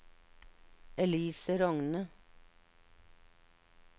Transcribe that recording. Elise Rogne